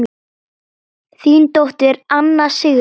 Þín dóttir, Anna Sigrún.